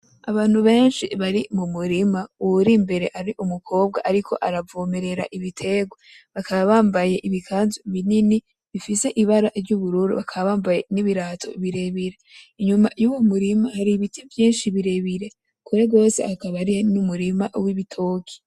Abantu benshi bari mu murima. Uwuri imbere ari umukobwa ariko aravomerera ibiterwa, bakaba bambaye ibikanzu binini bifise ibara ry'ubururu, bakaba bambaye n'ibirato birebire. Inyuma y'uwo murima har’ibiti vyinshi birebire, kure gose hakaba hari n'umurima w'ibitoke.